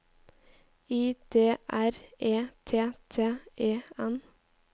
I D R E T T E N